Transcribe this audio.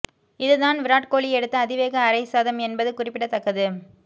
இதுதான் விராட் கோலி எடுத்த அதிவேக அரை சதம் என்பது குறிப்பிடத்தக்கது